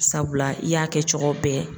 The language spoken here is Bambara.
Sabula i y'a kɛ cogo bɛɛ.